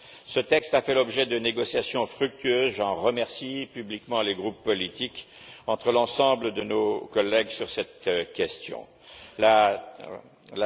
Ce texte a fait l'objet de négociations fructueuses, et je remercie publiquement les groupes politiques et l'ensemble de nos collègues qui y ont participé.